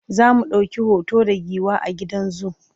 zamu ɗauki hoto da giwa a gidan zoo